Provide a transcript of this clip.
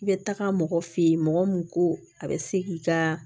I bɛ taga mɔgɔ fɛ ye mɔgɔ mun ko a bɛ se k'i ka